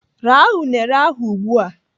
Raa unere ahụ ugbu a!